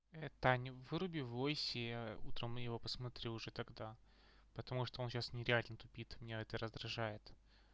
таня выруби в войсе утром его посмотрю уже тогда потому что он сейчас нереально тупит меня это раздражает